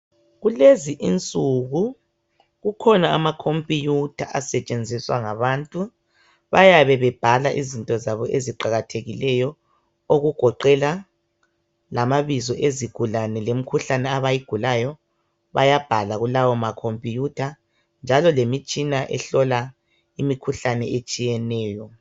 Kulezi insuku kukhona ama khompiyutha asetshenziswa ngabantu. Bayabe bebhala izinto zabo eziqakathekileyo, okugoqela lamabizo ezigulane lemkhuhlane abayigulayo, bayabhala kulawo ma khompiyutha, njalo lemitshina ehlola imikhuhlane etshiyeneyo